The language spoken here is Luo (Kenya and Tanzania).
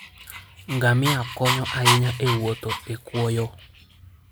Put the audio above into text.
Ngamia konyo ahinya e wuotho e kwoyo.